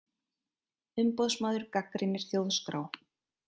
Umboðsmaður gagnrýnir Þjóðskrá